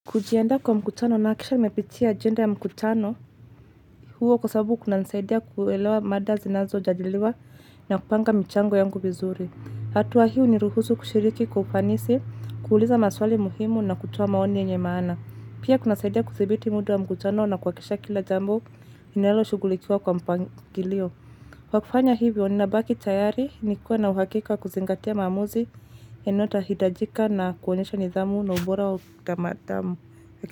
Kujiandaa kwa mkutano nahakikisha nimepitia agenda ya mkutano huo, kwa sababu kunanisaidia kuelewa mada zinazojadiliwa na kupanga mchango yangu vizuri. Hatua hiu huniruhusu kushiriki kwa ufanisi, kuuliza maswali muhimu na kutoa maoni yenye maana. Pia kunasaidia kudhibiti muda wa mkutano na kuhakisha kila jambo linalo shughulikiwa kwa mpangilio. Kwa kufanya hivyo ni nabaki tayari nikuwe na uhakika kuzingatia maamuzi inaohitajika na kuonyesha nidhamu na ubora wa kutamadhamu.